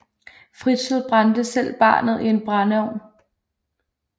Fritzl brændte selv barnet i en brændeovn